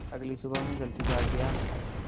अगली सुबह मैं जल्दी जाग गया